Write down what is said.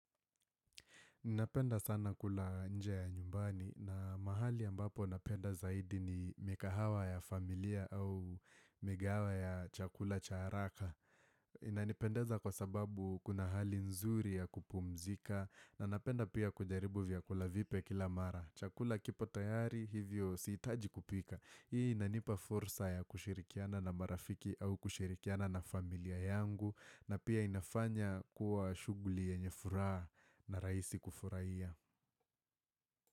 Ninapenda sana kula nje ya nyumbani na mahali ambapo napenda zaidi ni mikahawa ya familia au migawaha ya chakula cha haraka. Inanipendeza kwa sababu kuna hali nzuri ya kupumzika na napenda pia kujaribu vyakula vipya kila mara. Chakula kipo tayari hivyo sihitaji kupika. Hii inanipa fursa ya kushirikiana na marafiki au kushirikiana na familia yangu. Na pia inafanya kuwa shughuli yenye furaha na raisi kufuraiya.